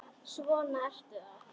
Svona ertu þá!